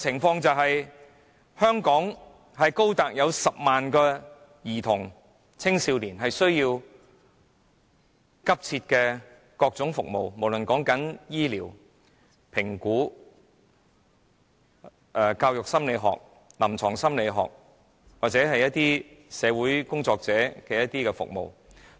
現時，全港有高達10萬名兒童和青少年急切需要各種服務，包括醫療、評估或是教育心理學、臨床心理學和社會工作者的服務。